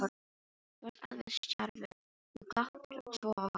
Þú varst alveg stjarfur, þú gláptir svo á hana.